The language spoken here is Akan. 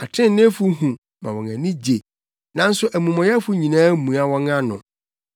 Atreneefo hu ma wɔn ani gye, nanso amumɔyɛfo nyinaa mua wɔn ano.